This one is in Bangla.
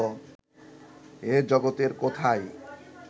এ জগতের কোথায়